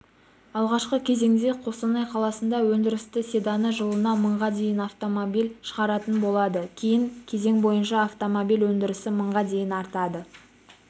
алғашқы кезеңде қостанай қаласында өндірісті седаны жылына мыңға дейін автомобиль шығаратын болады кейін кезең бойынша автомобиль өндірісі мыңға дейін артады